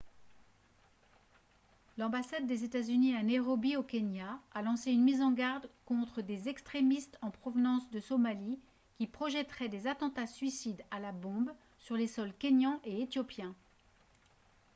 "l'ambassade des états-unis à nairobi au kenya a lancé une mise en garde contre des "extrémistes en provenance de somalie" qui projetteraient des attentats- suicides à la bombe sur les sols kényan et éthiopien.